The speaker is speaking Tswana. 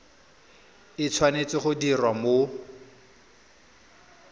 e tshwanetse go diriwa mo